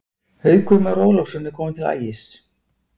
Haukur Már Ólafsson er kominn til Ægis.